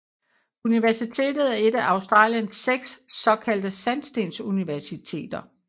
Universitetet er et af Australiens seks såkaldte sandstensuniversiteter